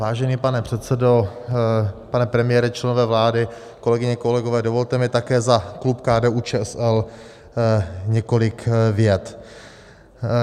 Vážený pane předsedo, pane premiére, členové vlády, kolegyně, kolegové, dovolte mi také za klub KDU-ČSL několik vět.